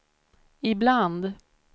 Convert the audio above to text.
ibland